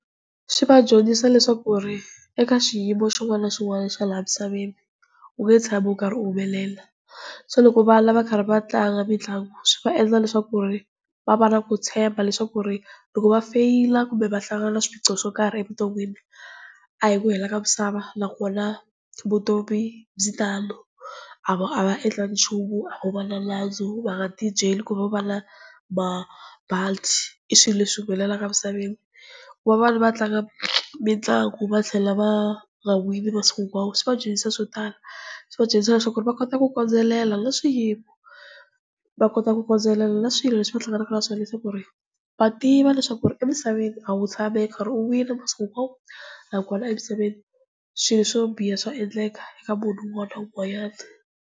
Swi va dyondzisa leswaku ku ri eka xiyimo xin'wana na xin'wana xa laha misaveni, u nge tshami u karhi u humelela se loko vana va karhi va tlanga mitlangu, swi va endla leswaku ku ri va va na ku tshemba leswaku ku ri loko va feyila kumbe va hlangana na swiphiqo swo karhi evuton'wini a hi ku hela ka misava na kona vutomi byi tano a va endlangi nchumu a vo va na nandzu, va nga ti byeli ku vo va na mabadi i swilo leswi humelelaka misaveni. Ku va vana va tlanga mitlangu va tlhela va nga wini masiku hinkwawo, swi va dyondzisa so tala. Swi va dyondzisa leswaku va kota ku kondelela na swiyimo, va kota ku kondelela na swilo leswi va hlanganaka na swona leswaku va tiva leswaku emisaveni a wu tshami u karhi u wina minkarhi hinkwayo, naswona emisaveni swilo swo biha swa endleka eka munhu un'wana na un'wanyana.